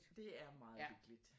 Det er meget hyggeligt